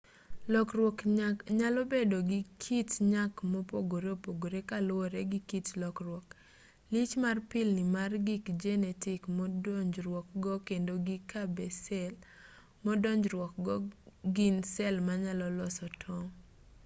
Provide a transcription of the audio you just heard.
lokruok nyalo bedo gi kit nyak mopogore opogore kaluwore gi kit lokruok lich mar pilni mar gir jenetik modonjruokgo kendo gi ka be sel modonjruokgo go gin sel manyalo loso tong'